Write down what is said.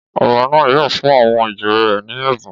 Ọba náà yóò fún àwọn ìjòyè rẹ ní ẹ̀bùn